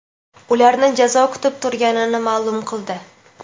ularni jazo kutib turganini maʼlum qildi.